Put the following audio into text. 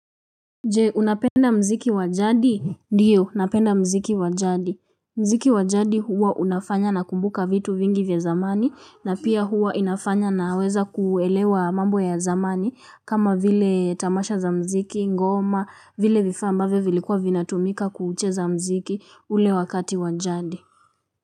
Je unapenda mziki wa jadi ndio napenda mziki wa jadi mziki wa jadi huwa unafanya nakumbuka vitu vingi vya zamani na pia huwa inafanya naweza kuelewa mambo ya zamani kama vile tamasha za mziki ngoma vile vifaa ambavyo vilikuwa vinatumika kucheza mziki ule wakati wa jadi.